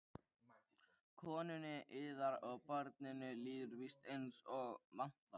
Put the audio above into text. Konunni yðar og barninu líður víst eins og vantar?